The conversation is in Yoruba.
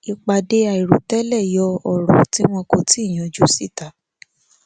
ìpàdé àìròtẹlè yọ òrò tí wọn kò tíì yanjú síta